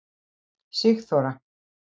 Sigþóra